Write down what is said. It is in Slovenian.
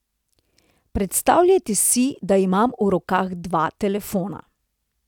Predstavljajte si, da imam v rokah dva telefona.